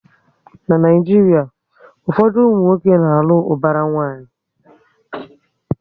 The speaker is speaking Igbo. Na Naijiria, ụfọdụ ụmụnwoke na alụ ubara nwanyi